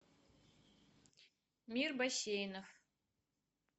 мир бассейнов